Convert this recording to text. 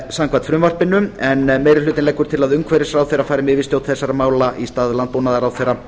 samkvæmt frumvarpinu en meiri hlutinn leggur til að umhverfisráðherra fari með yfirstjórn þeirra í stað landbúnaðarráðherra